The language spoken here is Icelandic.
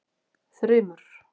Þrymur